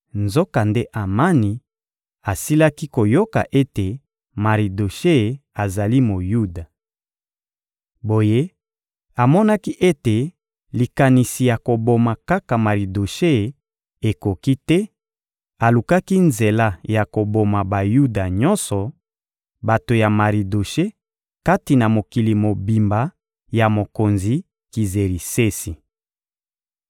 Nzokande Amani asilaki koyoka ete Maridoshe azali Moyuda. Boye amonaki ete likanisi ya koboma kaka Maridoshe ekoki te; alukaki nzela ya koboma Bayuda nyonso, bato ya Maridoshe, kati na mokili mobimba ya mokonzi Kizerisesi.